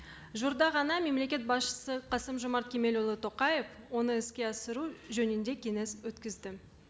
жуырда ғана мемлекет басшысы қасым жомарт кемелұлы тоқаев оны іске асыру жөнінде кеңес өткізді